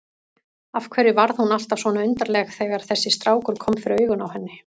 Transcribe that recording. Af hverju varð hún alltaf svona undarleg þegar þessi strákur kom fyrir augun á henni?